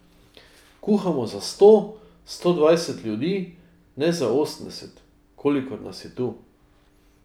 Kuhamo za sto, sto dvajset ljudi, ne za osemdeset, kolikor nas je tu.